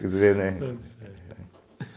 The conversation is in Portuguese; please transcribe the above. Quer dizer, né?